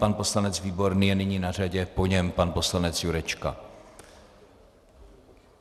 Pan poslanec Výborný je nyní na řadě, po něm pan poslanec Jurečka.